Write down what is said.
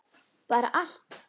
Bara allt.